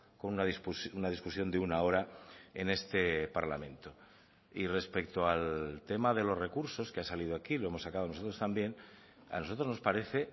con una discusión de una hora en este parlamento y respecto al tema de los recursos que ha salido aquí lo hemos sacado nosotros también a nosotros nos parece